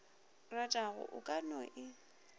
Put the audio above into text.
ratago o ka no e